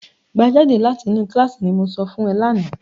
"Gbá Jídé létí ni kíláàsì", ní mo sọ fún ẹ lánàá.